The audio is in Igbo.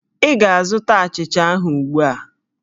Ị ga-azụta achịcha ahụ ugbu a!